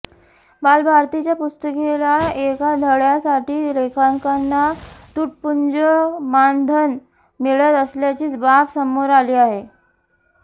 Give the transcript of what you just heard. बालभारतीच्या पुस्तकातील एका धड्यासाठी लेखकांना तुटपुंजं मानधन मिळत असल्याची बाब समोर आली आहे